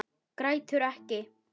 Grætur ekki.